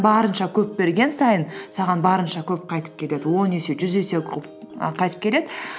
барынша көп берген сайын саған барынша көп қайтып келеді он есе жүз есе і қайтып келеді